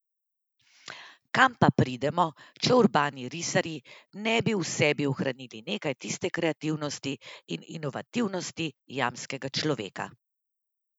Kam pa pridemo, če urbani risarji ne bi v sebi ohranili nekaj tiste kreativnosti in inovativnosti jamskega človeka.